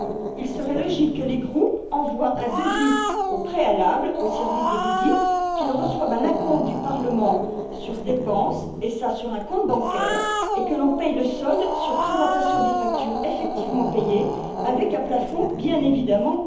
Il serait logique que les groupes envoient un devis, au préalable, au service des visites, qu'ils reçoivent un acompte du Parlement sur dépenses, et cela sur un compte bancaire, et que l'on paie le solde sur présentation des factures effectivement acquittées, avec un plafond, bien évidemment.